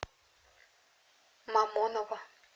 мамоново